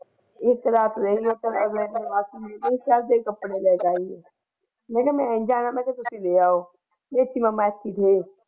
ਇੱਕ ਰਾਤ ਰਹੀ ਉਸ ਤੋਂ ਮੈਂ ਮਾਸੀ ਦੇ ਕੱਪੜੇ ਲੈ ਜਾਈਏ ਮੈਂ ਕਹਿਆ ਤੁਸੀ ਲੈ ਆਓ ਮੈਂ ਕਹਿਆ ਮੈਂ ਨਹੀਂ ਜਾਣਾ ਤੁਸੀ ਲੈ ਆਓ।